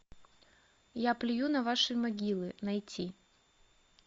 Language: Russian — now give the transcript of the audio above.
я плюю на ваши могилы найти